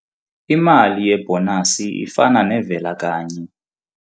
Imali yebhonasi ifana nevela-kanye.